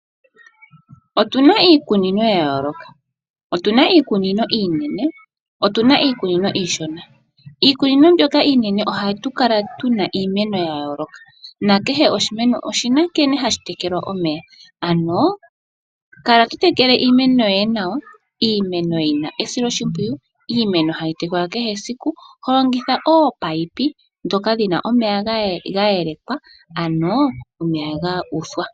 Otuna iikunino ya yooloka, otuna iikunino iinene, otuna iikunino iishona. Iikunino mbyoka iinene ohatu kala tuna iimeno ya yooloka nakehe oshimeno oshina nkene hashi tekelwa omeya. Ano kala to tekele iimeno yoye nawa, iimeno yina esilo shimpwiyu, iimeno hayi tekelwa kehe esiku to longitha oopayipi ndhoka dhina omeya ga yelakwa ano omeya ga uthwa.